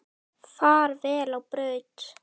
Far vel á braut.